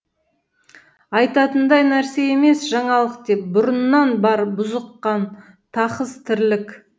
айтатындай нәрсе емес жаңалық деп бұрыннан бар бұзық қан тақыс тірлік